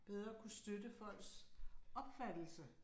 Bedre kunne støtte folks opfattelse